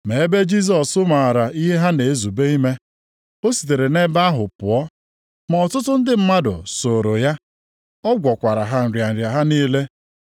Ma ebe Jisọs maara ihe ha na-ezube ime, o sitere nʼebe ahụ pụọ. Ma ọtụtụ ndị mmadụ sooro ya. Ọ gwọkwara ha nrịa nrịa ha niile.